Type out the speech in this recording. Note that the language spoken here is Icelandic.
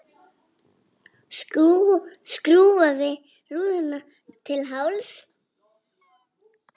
Skrúfar niður rúðuna til hálfs.